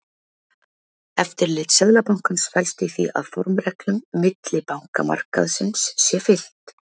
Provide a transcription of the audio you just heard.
Eftirlit Seðlabankans felst í því að formreglum millibankamarkaðarins sé fylgt.